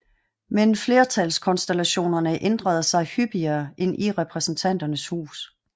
Men flertalskonstellationerne ændrede sig hyppigere end i Repræsentanternes Hus